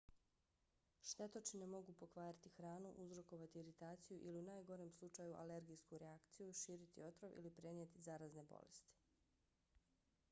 štetočine mogu pokvariti hranu uzrokovati iritaciju ili u najgorem slučaju alergijsku reakciju širiti otrov ili prenijeti zarazne bolesti